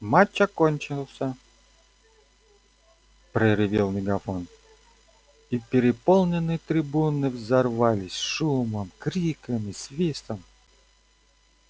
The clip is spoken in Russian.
матч отменяется проревел мегафон и переполненные трибуны взорвались шумом криками свистом